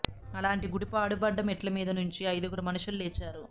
అలాంటి గుడి పాడుబడ్డ మెట్ల మీది నుంచి అయిదుగురు మనుషులు లేచారు